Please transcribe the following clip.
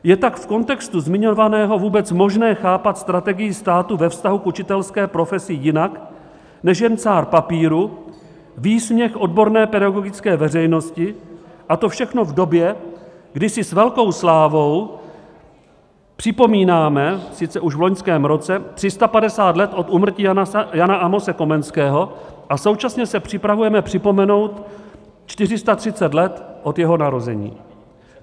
Je tak v kontextu zmiňovaného vůbec možné chápat strategii státu ve vztahu k učitelské profesi jinak než jen cár papíru, výsměch odborné pedagogické veřejnosti, a to všechno v době, kdy si s velkou slávou připomínáme, sice už v loňském roce, 350 let od úmrtí Jana Amose Komenského a současně se připravujeme připomenout 430 let od jeho narození.